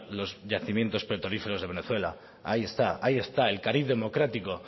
los yacimientos petrolíferos de venezuela ahí está ahí está el cariz democrático